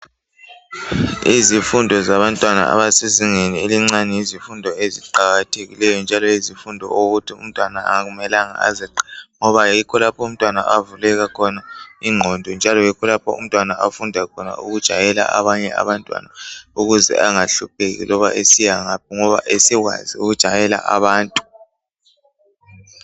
Izifundo zabantwana abasezingeni elincane yizifundo eziqakathekileyo njalo yizifundo okokuthi umtwana akumelanga azeqe ngoba yikho lapha umtwana avuleka khona ingqondo njalo yikho lapha umtwana afunda khona ukujayela abanye abantwana ukuze angahlupheki loba esiyangaphi ngoba esekwazi ukujayela abantu.